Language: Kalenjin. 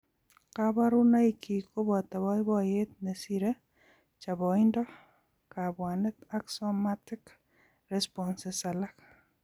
Kaborunoikyik koboto boiboiyet nesire, choboindo, kabwanet ak somatic responses alak